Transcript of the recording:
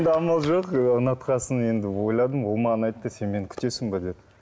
амал жоқ ұнатқан соң енді ойладым ол маған айтты сен мені күтесің бе деді